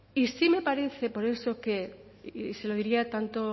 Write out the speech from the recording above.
y sí me parece por eso que y se lo diría tanto